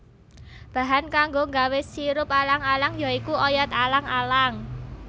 Bahan kanggo nggawé sirup alang alang ya iku oyot alang alang